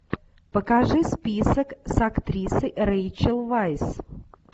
покажи список с актрисой рэйчел вайс